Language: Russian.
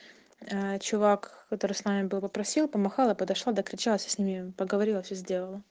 чувак который с нами был попросил помахала подошла докричалась с ними поговорила всё сделала